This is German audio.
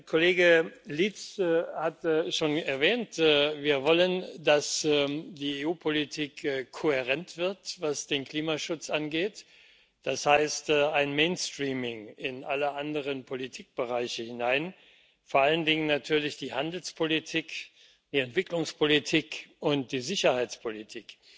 Kollege Lietz hat schon erwähnt Wir wollen, dass die EU Politik, was den Klimaschutz angeht, kohärent wird, das heißt ein mainstreaming in alle anderen Politikbereiche hinein, vor allen Dingen natürlich in die Handelspolitik, die Entwicklungspolitik und die Sicherheitspolitik.